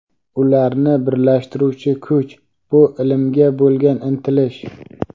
Ularni birlashtiruvchi kuch – bu ilmga bo‘lgan intilish.